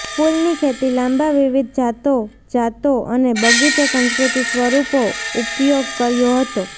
ફૂલની ખેતી લાંબા વિવિધ જાતો જાતો અને બગીચો સંસ્કૃતિ સ્વરૂપો ઉપયોગ કર્યો હતો